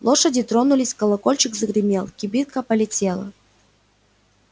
лошади тронулись колокольчик загремел кибитка полетела